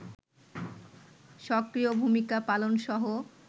সক্রিয় ভূমিকা পালনসহ